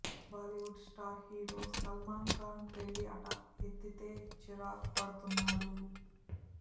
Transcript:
Bollywood star hero Salman Khan పెళ్లి అట ఎత్తితే చిరాకు పడుతున్నాడు